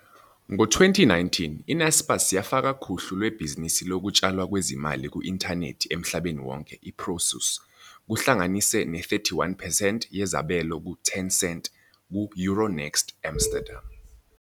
Ngo-2019, i-Naspers yafaka kuhlu lwebhizinisi lokutshalwa kwezimali ku-inthanethi emhlabeni wonke i-Prosus, kuhlanganise ne-31 percent yezabelo ku-Tencent, ku-Euronext Amsterdam.